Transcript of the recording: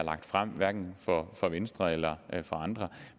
hverken af venstre eller andre